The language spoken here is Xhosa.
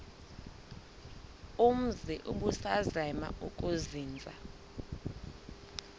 umzi ubusazema ukuzinza